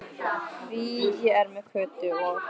Því ég er með Kötu og